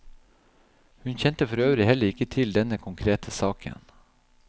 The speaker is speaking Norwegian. Hun kjente forøvrig heller ikke til denne konkrete saken.